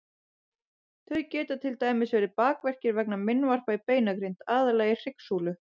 Þau geta til dæmis verið bakverkir vegna meinvarpa í beinagrind, aðallega í hryggsúlu.